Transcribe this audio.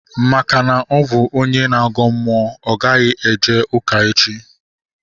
Maka na ọ bụ onye na-agọ mmụọ, ọ gaghị eje ụka echi